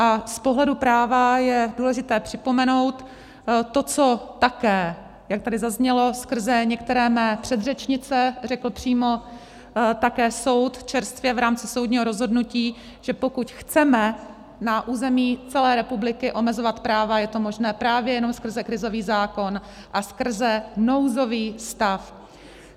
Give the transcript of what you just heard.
A z pohledu práva je důležité připomenout to, co také, jak tady zaznělo skrze některé mé předřečnice, řekl přímo také soud čerstvě v rámci soudního rozhodnutí, že pokud chceme na území celé republiky omezovat práva, je to možné právě jenom skrze krizový zákonem a skrze nouzový stav.